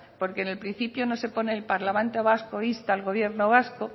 porque en el principio no se pone el parlamento vasco insta al gobierno vasco